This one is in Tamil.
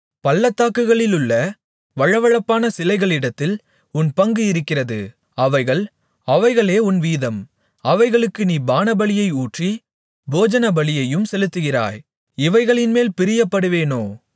பள்ளத்தாக்குகளிலுள்ள வழவழப்பான சிலைகளிடத்தில் உன் பங்கு இருக்கிறது அவைகள் அவைகளே உன் வீதம் அவைகளுக்கு நீ பானபலியை ஊற்றி போஜனபலியையும் செலுத்துகிறாய் இவைகளின்மேல் பிரியப்படுவேனோ